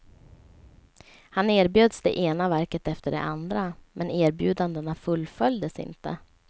Han erbjöds det ena verket efter det andra, men erbjudandena fullföljdes inte.